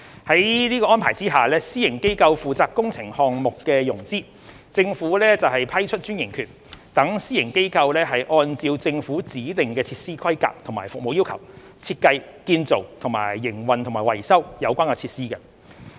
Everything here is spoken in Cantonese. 在此安排下，私營機構負責工程項目的融資，政府則批出專營權，讓私營機構按照政府指定的設施規格和服務要求，設計、建造、營運及維修有關設施。